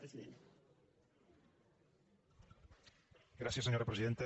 gràcies senyora presidenta